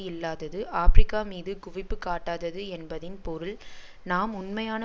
இல்லாதது ஆபிரிக்காமீது குவிப்பு காட்டாதது என்பதின் பொருள் நாம் உண்மையான